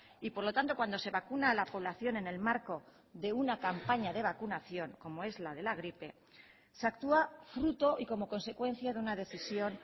y por lo tanto cuando se vacuna a la población en el marco de una campaña de vacunación como es la de la gripe se actúa fruto y como consecuencia de una decisión